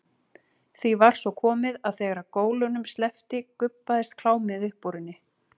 Því var svo komið að þegar gólunum sleppti gubbaðist klámið upp úr henni.